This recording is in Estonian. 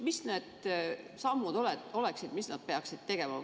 Mis need sammud oleksid, mida nad peaksid tegema?